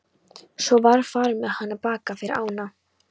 Svo var farið með hana til baka yfir ána.